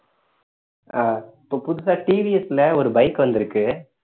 ஆஹ் இப்ப புதுசா TVS ல ஒரு bike வந்திருக்கு